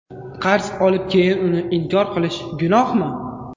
Qarz olib keyin uni inkor qilish gunohmi?.